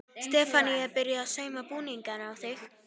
Stefanía er byrjuð að sauma búning á þig.